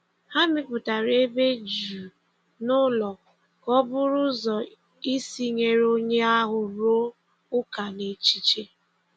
Ha mepụtara ebe jụụ n’ụlọ ka ọ bụrụ ụzọ isi nyere onye ahụ rụọ ụka n’echiche.